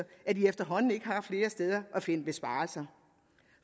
at de efterhånden ikke har flere steder at finde besparelser